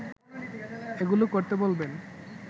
এগুলো করতে বলবেন